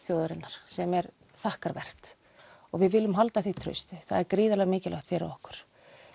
þjóðarinnar sem er þakkarvert við viljum halda því trausti það er gríðarlega mikilvægt fyrir okkur